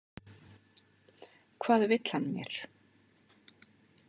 Hvað vill hann mér?